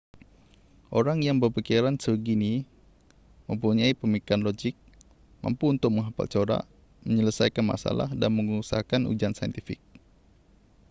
orang yang berfikiran sebegini mempunyai pemikiran logik mampu untuk menghafal corak menyelesaikan masalah dan mengusahakan ujian saintifik